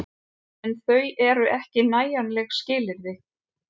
En þau eru ekki nægjanleg skilyrði.